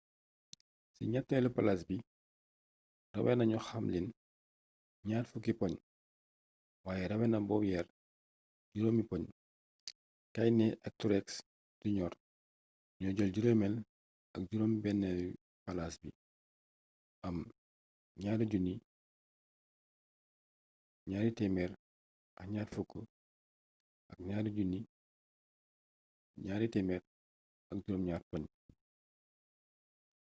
ci ñatteelu palaas bi rawee nañu hamlin ñaar fukki poñ waaye rawee na bowyer juróomi poñ kahne ak truex jr ñoo jël juróomeel ak juróom-benneeli palaas bi am 2 220 ak 2 207 poñ